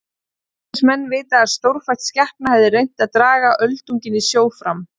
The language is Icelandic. Þóttust menn vita að stórfætt skepna hefði reynt að draga öldunginn í sjó fram.